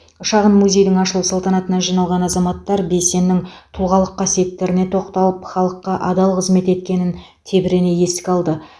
шағын музейдің ашылу салтанатына жиналған азаматтар бейсеннің тұлғалық қасиеттеріне тоқталып халыққа адал қызмет еткенін тебірене еске алды